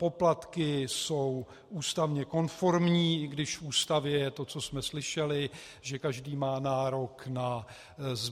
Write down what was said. Poplatky jsou stavně konformní, i když v Ústavě je to, co jsme slyšeli, že každý má nárok na